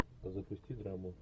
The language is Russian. запусти драму